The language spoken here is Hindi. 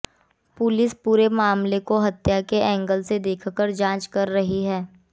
पुलिस पूरे मामले को हत्या के एंगल से देखकर जांच कर रही है